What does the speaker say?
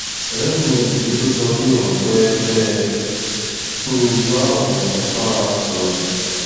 ọrẹ mi yìí ló sọ pé òun fẹẹ fẹ ẹ kí n bá òun bá a sọrọ